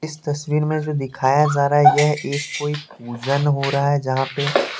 इस तस्वीर में जो दिखाया जा रहा है यह एक कोई पूजन हो रहा है जहा पे --